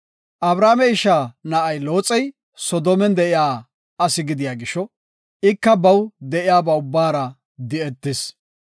Abrame isha na7ay Looxey Soodomen de7iya asi gidiya gisho ika baw de7iyaba ubbara di7etis.